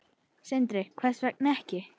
Sindri: Hvers vegna ekki?